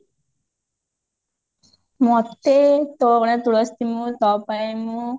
ମୋତେ ତୋ ଅଗଣାର ତୁଲସୀ ମୁଁ ତୋ ପାଇଁ ମୁଁ